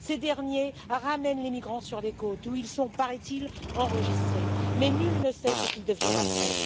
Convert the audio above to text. Ces derniers ramènent les migrants sur les côtes, où ils sont paraît il enregistrés, mais nul ne sait ce qu'ils deviennent après.